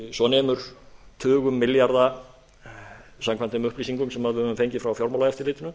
svo nemur tugum milljarða samkvæmt þeim upplýsingum sem við höfum fengið frá fjármálaeftirlitinu